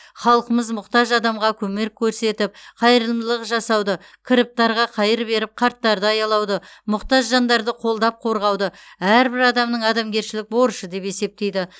халқымыз мұқтаж адамға көмек көрсетіп қайырымдылық жасауды кіріптарға қайыр беріп қарттарды аялауды мұқтаж жандарды қолдап қорғауды әрбір адамның адамгершілік борышы деп есептейді